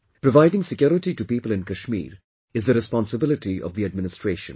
Providing security to people in Kashmir is the responsibility of the administration